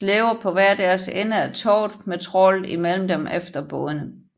De slæber på hver deres ende af tovet med trawlet imellem dem efter bådene